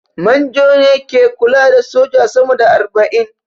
Manjo ne ke kula da soja sama da arba'in